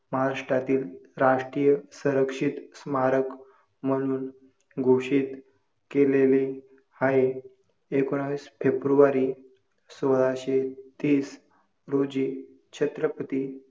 पाचशे गनमीटर पेक्षा कमी झाली असेल तर ती प्राणी जीवनास ही वेळी अडचनीची असते.